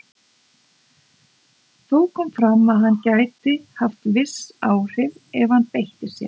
Þó kom fram að hann gæti haft viss áhrif ef hann beitti sér.